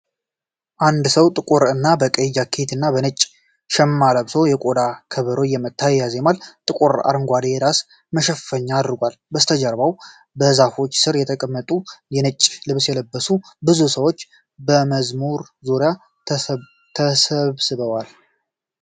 አንድ ሰው በጥቁር እና በቀይ ጃኬት እና በነጭ ሽማ ለብሶ የቆዳ ከበሮ እየመታ ያዜማል። ጥቁር አረንጓዴ የራስ መሸፈኛ አድርጓል፤ ከበስተጀርባው በዛፎች ስር የተቀመጡና የነጭ ልብስ የለበሱ ብዙ ሰዎች በመዝሙሩ ዙሪያ ተሰባስበዋል።